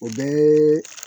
O bɛɛ